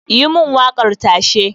yi mun wakar tashe